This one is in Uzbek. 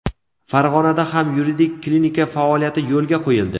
Farg‘onada ham yuridik klinika faoliyati yo‘lga qo‘yildi!.